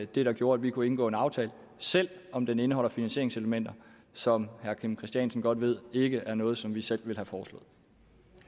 det der gjorde at vi kunne indgå en aftale selv om den indeholder finansieringselementer som herre kim christiansen godt ved ikke er noget som vi selv ville